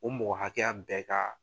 U mɔgɔ hakɛ ya bɛɛ ka.